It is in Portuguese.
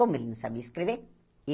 Como ele não sabia escrever?